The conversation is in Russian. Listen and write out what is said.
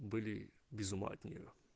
были без ума от неё